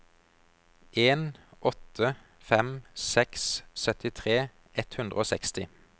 en åtte fem seks syttitre ett hundre og seksti